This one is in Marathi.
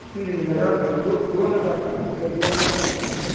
पेरणी झाली. दोन दोनच असतं रब्बी आणि आरख.